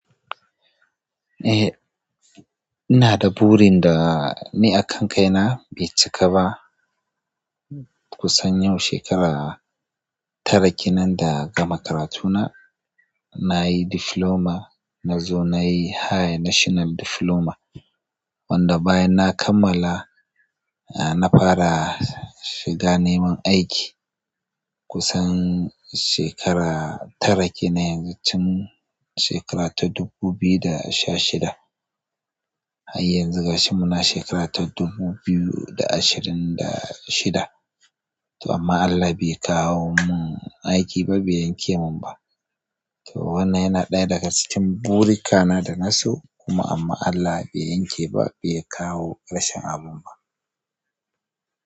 Eh, ina da burin da ni akan kaina bai cika ba. Kusan yau shekara tara kenan da gama karatuna nayi diploma, nazo nayi high tational diploma wanda bayan na kammala, na fara shiga neman aiki kusan shekara tara kenan yanzu, tun shekara ta dubu biyu da sha shida. Har yanzu gashi muna shekara ta dubu biyu da ashirin da shida to amma Allah bai kawo mun aiki ba, bai yanke mun ba. To, wannan yana ɗaya daga cikin burika na dana so kuma amma Allah bai yanke ba, bai kawo ƙarshen abun ba.